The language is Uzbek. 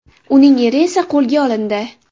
Uning eri esa qo‘lga olindi.